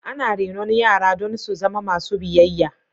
Ana renon yara don su zama masu biyayya.